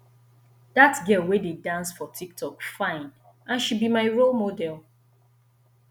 dat girl wey dey dance for tik tok fine and she be my role model